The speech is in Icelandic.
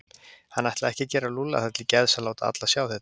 Hann ætlaði ekki að gera Lúlla það til geðs að láta alla sjá þetta.